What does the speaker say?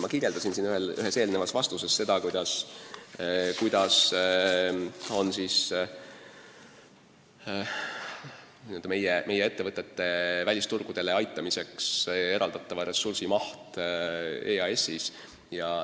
Ma ütlesin ühes oma vastuses, kui suur on meie ettevõtete välisturgudele aitamiseks eraldatava ressursi maht EAS-is.